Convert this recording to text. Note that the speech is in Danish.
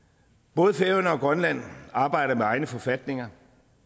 både færøerne og grønland arbejder med egne forfatninger